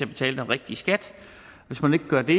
betale den rigtige skat hvis man ikke gør det